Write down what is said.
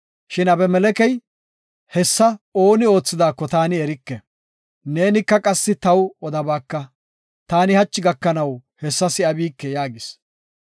Shin Abimelekey, “Hessa ooni oothidaako taani erike. Neenika qassi taw odabaaka; taani hachi gakanaw hessa si7abike” yaagis.